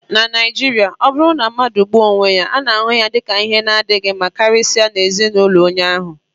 na Naijiria, ọ bụrụ na mmadụ gbuo onwe ya, a na-ahụ ya dị ka ihe na-adịghị mma karịsịa nye ezin'ulo onye ahu